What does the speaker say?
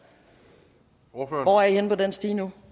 hvor er i henne på den stige nu